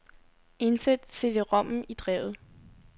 Indsæt cd-rommen i drevet.